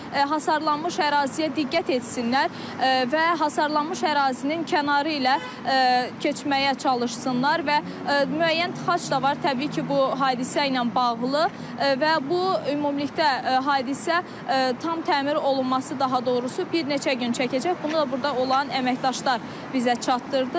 Hasarlanmış əraziyə diqqət etsinlər və hasarlanmış ərazinin kənarı ilə keçməyə çalışsınlar və müəyyən tıxac da var, təbii ki, bu hadisə ilə bağlı və bu ümumilikdə hadisə tam təmir olunması daha doğrusu, bir neçə gün çəkəcək, bunu da burda olan əməkdaşlar bizə çatdırdı.